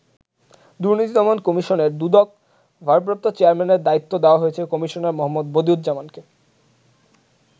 দুর্নীতি দমন কমিশনের দুদক ভারপ্রাপ্ত চেয়ারম্যানের দায়িত্ব দেওয়া হয়েছে কমিশনার মো. বদিউজ্জামানকে।